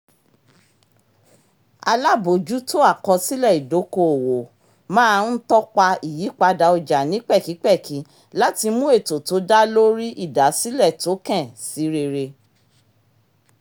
alábòójútó àkósílẹ̀ ìdoko-owó máa ń tọ́pa ìyípadà ọjà ní pẹkipẹki láti mú ètò tó dá lórí ìdásílẹ̀ tokẹ̀n sí rere